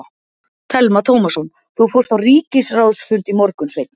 Telma Tómasson: Þú fórst á ríkisráðsfund í morgun, Sveinn?